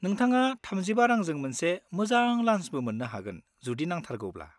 नोंथाङा 35 रांजों मोनसे मोजां लान्सबो मोननो हागोन जुदि नांथारगौब्ला।